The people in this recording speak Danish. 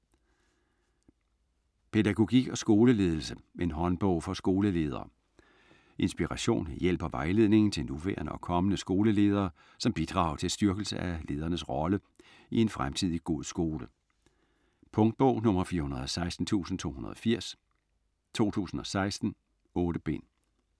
Pædagogik og skoleledelse: en håndbog for skoleledere Inspiration, hjælp og vejledning til nuværende og kommende skoleledere som bidrag til styrkelse af ledernes rolle i en fremtidig god skole. Punktbog 416280 2016. 8 bind.